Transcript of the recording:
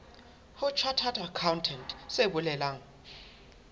ho chartered accountant se bolelang